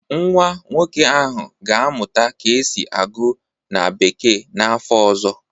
Nwa nwoke ahụ ga-amụta ka esi agụ na bekee n'afọ ọzọ